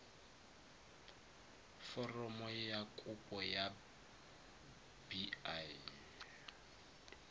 foromo ya kopo ya bi